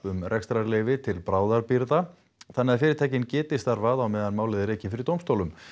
um rekstrarleyfi til bráðabirgða þannig að fyrirtækin geti starfað á meðan málið er rekið fyrir dómstólum